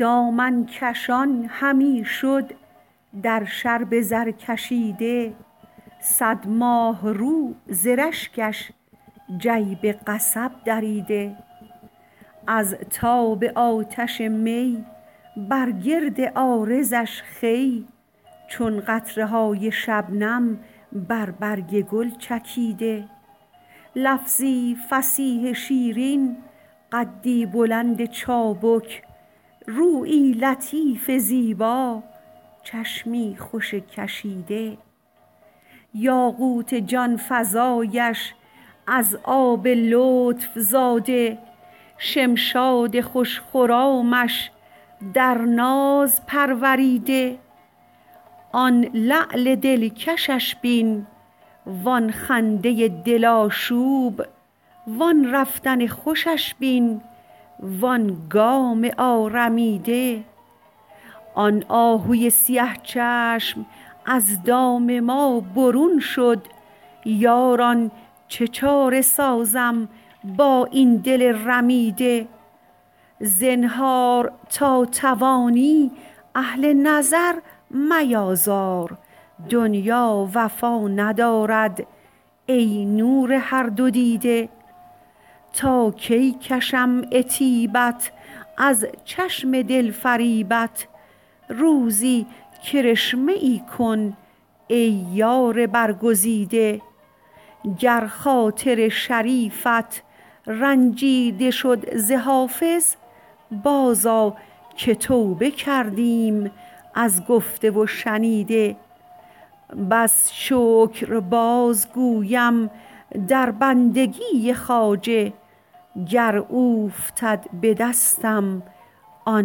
دامن کشان همی شد در شرب زرکشیده صد ماهرو ز رشکش جیب قصب دریده از تاب آتش می بر گرد عارضش خوی چون قطره های شبنم بر برگ گل چکیده لفظی فصیح شیرین قدی بلند چابک رویی لطیف زیبا چشمی خوش کشیده یاقوت جان فزایش از آب لطف زاده شمشاد خوش خرامش در ناز پروریده آن لعل دلکشش بین وآن خنده دل آشوب وآن رفتن خوشش بین وآن گام آرمیده آن آهوی سیه چشم از دام ما برون شد یاران چه چاره سازم با این دل رمیده زنهار تا توانی اهل نظر میآزار دنیا وفا ندارد ای نور هر دو دیده تا کی کشم عتیبت از چشم دل فریبت روزی کرشمه ای کن ای یار برگزیده گر خاطر شریفت رنجیده شد ز حافظ بازآ که توبه کردیم از گفته و شنیده بس شکر بازگویم در بندگی خواجه گر اوفتد به دستم آن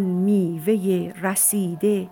میوه رسیده